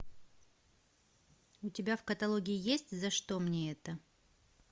у тебя в каталоге есть за что мне это